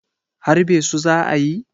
harbe su za a yi?